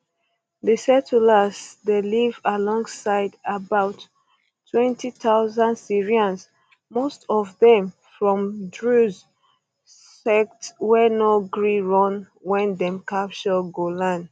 di settlers dey live alongside about 20000 syrians most of dem from druze sect wey no gree run wen dem capture golan